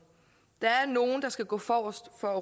der er nogle der skal gå forrest for at